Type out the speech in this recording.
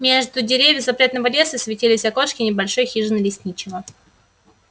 между деревьев запретного леса светились окошки небольшой хижины лесничего